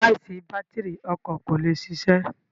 Láìsí bátírì, ọkọ kò lè ṣiṣẹ́.